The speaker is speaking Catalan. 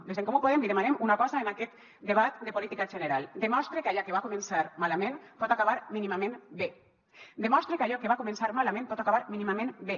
des d’en comú podem li demanem una cosa en aquest debat de política general demostre que allò que va començar malament pot acabar mínimament bé demostre que allò que va començar malament pot acabar mínimament bé